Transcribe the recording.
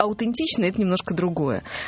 аутентично это немножко другое